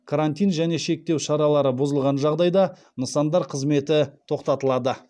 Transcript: карантин және шектеу шаралары бұзылған жағдайда нысандар қызметі тоқтатылады